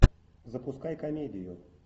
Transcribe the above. запускай комедию